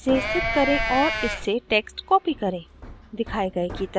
* कृपया इसे स्थित करें और इस से text copy करें